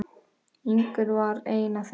Ingunn var ein af þeim.